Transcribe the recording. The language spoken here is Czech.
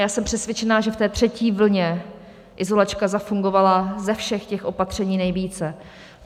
Já jsem přesvědčena, že v té třetí vlně izolačka zafungovala ze všech těch opatření nejvíce.